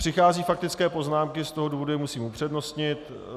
Přicházejí faktické poznámky, z toho důvodu je musím upřednostnit.